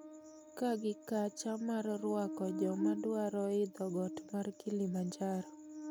Kaa gi kacha mar rwako jomadwaro yidho got mar Kilimanjaro